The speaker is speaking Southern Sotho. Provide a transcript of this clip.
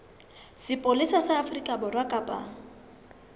sepolesa sa afrika borwa kapa